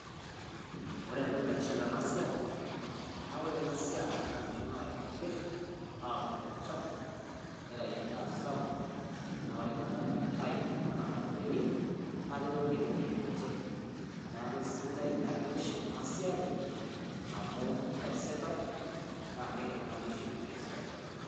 Ore entokii naitiship ena esiai, naa ore ena esiai na inkishuu naitobiir atuurr olchamba neitai endaa sapuk . Naa ore endaa naitayuu taana mapepeeni naa ketokini aitoriye ninchee. Naa sidia naa keitiship ana siai amu keasitai na keidim ana inkishuu esiai.